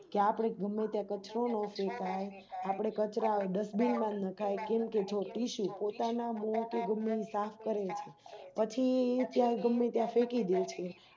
કે આપણે ગમે ત્યાં કચરો ન ફેકાય આપણે કચરા Dustbin નખાય કેમે કે જો Tissu પોતાના મુહ કે ગુમ્ન્મ સાફ કરે પછી ઈ ચ્યા ગમે ત્યાં ફેકીડે